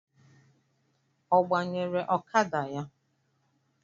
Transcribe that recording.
Ọ gbanyere ọkada ya?